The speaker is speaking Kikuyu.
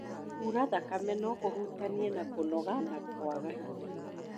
Kuura thakame no kũhutanie na kũnoga na kwaga hinya